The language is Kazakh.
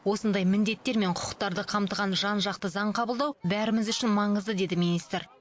осындай міндеттер мен құқықтарды қамтыған жан жақты заң қабылдау бәріміз үшін маңызды деді министр